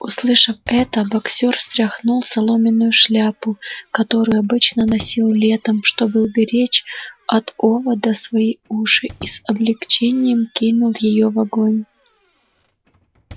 услышав это боксёр стряхнул соломенную шляпу которую обычно носил летом чтобы уберечь от оводов свои уши и с облегчением кинул её в огонь